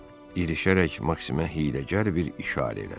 İrişərək Maksimə hiyləgər bir işarə elədi.